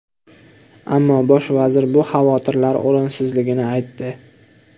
Ammo bosh vazir bu xavotirlar o‘rinsizligini aytdi.